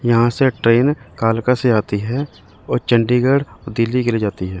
यहां से ट्रेन कालका से आती है और चंडीगढ़ दिल्ली के लिए जाती है।